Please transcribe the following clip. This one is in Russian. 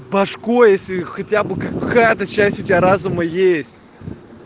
пашка если хотя бы какая-то часть у тебя разума есть